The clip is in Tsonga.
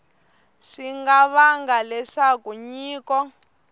swi nga vanga leswaku nyiko